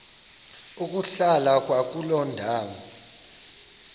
ukuhlala kwakuloo ndawo